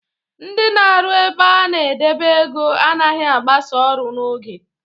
Ndị na arụ ebe a na-edebe ego anaghi agbasa ọrụ n'oge